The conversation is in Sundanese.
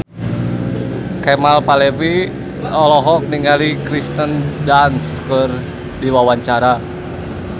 Kemal Palevi olohok ningali Kirsten Dunst keur diwawancara